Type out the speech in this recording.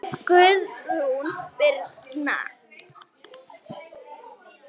Guðrún Birna.